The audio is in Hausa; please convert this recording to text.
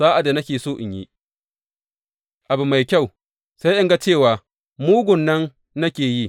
Sa’ad da nake so in yi abu mai kyau, sai in ga cewa mugun nan ne nake yi.